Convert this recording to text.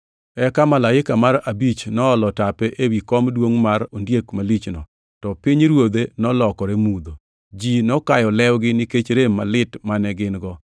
Eka malaika mar abich noolo tape ewi kom duongʼ mar ondiek malichno, to pinyruodhe nolokore mudho. Ji nokayo lewgi nikech rem malit mane gin-go